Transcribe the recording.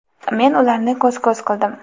men ularni ko‘z ko‘z qildim.